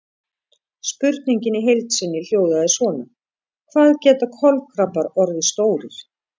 Spurningin í heild sinni hljóðaði svona: Hvað geta kolkrabbar orðið stórir?